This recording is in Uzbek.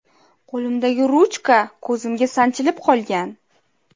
Qo‘limdagi ruchka ko‘zimga sanchilib qolgan.